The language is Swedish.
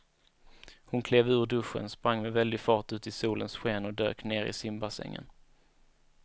Hon klev ur duschen, sprang med väldig fart ut i solens sken och dök ner i simbassängen.